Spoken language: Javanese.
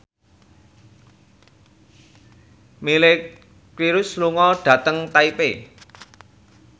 Miley Cyrus lunga dhateng Taipei